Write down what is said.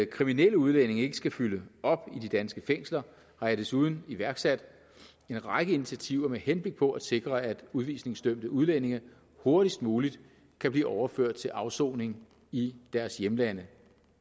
kriminelle udlændinge ikke skal fylde op i de danske fængsler har jeg desuden iværksat en række initiativer med henblik på at sikre at udvisningsdømte udlændinge hurtigst muligt kan blive overført til afsoning i deres hjemlande